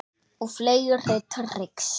Og fleiri trix.